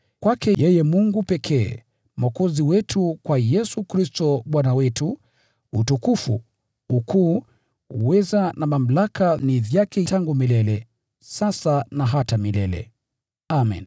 kwake yeye Mungu pekee Mwokozi wetu, kwa Yesu Kristo Bwana wetu, utukufu, ukuu, uweza na mamlaka ni vyake tangu milele, sasa na hata milele! Amen.